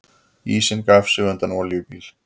Ísinn gaf sig undan olíubíl